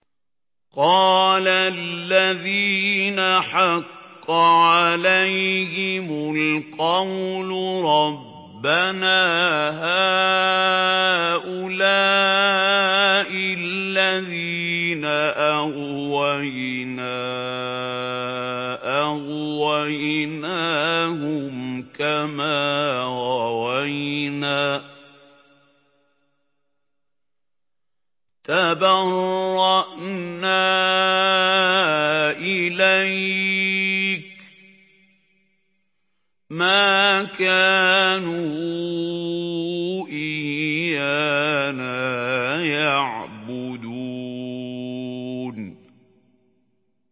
قَالَ الَّذِينَ حَقَّ عَلَيْهِمُ الْقَوْلُ رَبَّنَا هَٰؤُلَاءِ الَّذِينَ أَغْوَيْنَا أَغْوَيْنَاهُمْ كَمَا غَوَيْنَا ۖ تَبَرَّأْنَا إِلَيْكَ ۖ مَا كَانُوا إِيَّانَا يَعْبُدُونَ